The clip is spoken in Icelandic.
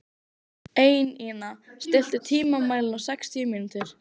Einína, stilltu tímamælinn á sextíu mínútur.